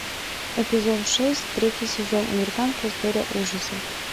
эпизод шесть третий сезон американская история ужасов